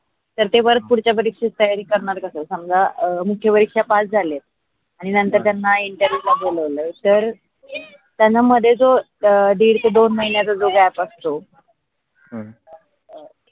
तर ते work पुढच्या मध्ये खूप तयारी करणार कस समजा मुख्य परीक्षा पास झाले आणि नंतर त्यांना interview बोलवल तर त्यांना मध्ये जो दीड ते दोन महीन्याच जो gap असतो हम्म